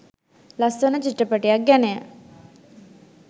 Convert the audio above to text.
ලස්‍ස‍න‍විත්‍ර‍ප‍ටි‍යක්‍ ‍ගැ‍න‍ය